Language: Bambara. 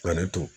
Ka ne to